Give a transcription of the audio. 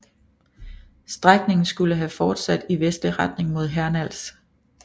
Strækningen skulle have fortsat i vestlig retning mod Hernals